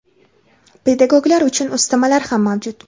Pedagoglar uchun ustamalar ham mavjud.